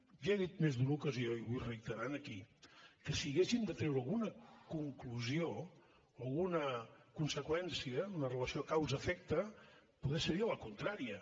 i he dit en més d’una ocasió i ho vull reiterar aquí que si haguéssim de treure alguna conclusió alguna conseqüència en la relació causa efecte potser seria la contrària